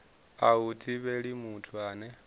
a hu thivheli muthu ane